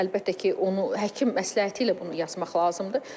Əlbəttə ki, onu həkim məsləhəti ilə bunu yazmaq lazımdır.